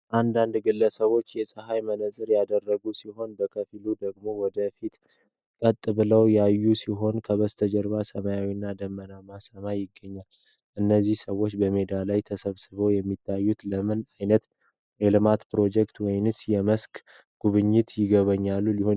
አንዳንድ ግለሰቦች የፀሐይ መነጽር ያደረጉ ሲሆን፣ ከፊሎቹ ደግሞ ወደ ፊት ቀጥ ብለው ያዩ ሲሆን፣ ከበስተጀርባ ሰማያዊና ደመናማ ሰማይ ይገኛል። እነዚህ ሰዎች በሜዳ ላይ ተሰብስበው የሚታዩት፣ ለምን አይነት የልማት ፕሮጀክት ወይም የመስክ ሥራ ጉብኝት ሊሆን ይችላል?